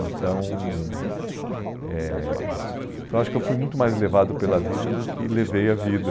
Então, eh então acho que eu fui muito mais levado pela vida do que levei a vida.